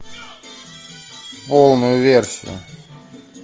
полную версию